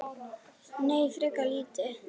Nei, frekar lítið.